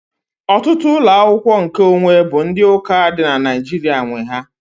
Ọtụtụ ụlọ akwụkwọ nkeonwe bụ ndị ụka dị na Naịjirịa nwe ya.